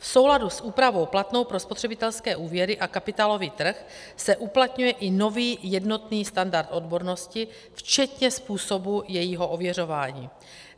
V souladu s úpravou platnou pro spotřebitelské úvěry a kapitálový trh se uplatňuje i nový jednotný standard odbornosti včetně způsobů jejího ověřování.